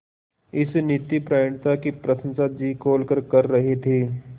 इस नीतिपरायणता की प्रशंसा जी खोलकर कर रहे थे